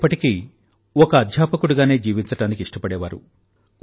వారు ఎప్పటికీ ఒక అధ్యాపకుడిగానే జీవించడానికి ఇష్టపడేవారు